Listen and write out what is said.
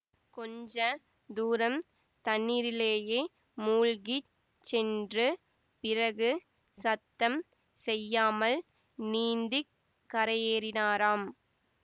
கொஞ்ச தூரம் தண்ணீரிலேயே மூழ்கிச் சென்று பிறகு சத்தம் செய்யாமல் நீந்தி கரையேறினாராம்